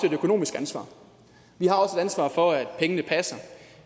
et økonomisk ansvar vi har også et ansvar for at pengene passer